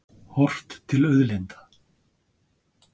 Horft til auðlinda.